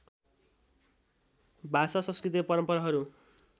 भाषा संस्कृति र परम्पराहरू